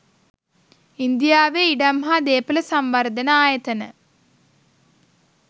ඉන්දියාවේ ඉඩම් හා දේපොළ සංවර්ධන ආයතන